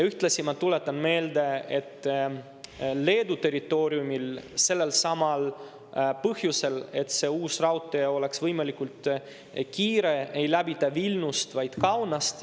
Ühtlasi ma tuletan meelde, et Leedu territooriumil sellelsamal põhjusel, et see uus raudtee oleks võimalikult kiire, ei läbita Vilniust, vaid Kaunast.